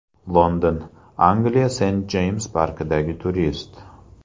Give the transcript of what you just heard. London, Angliya Sent-Jeyms parkidagi turist.